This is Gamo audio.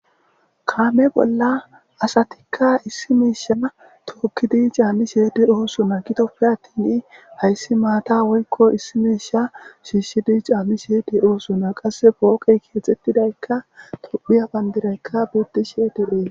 kaame bolla asatikka issi miisha tookkidi caammi sheede oosona gitoppe attin hayssi maata woykko issi miisha shiishshidi caami sheedi oosona qasse pooqey keexxettidaykka tophiya bandirayka bidishe dephee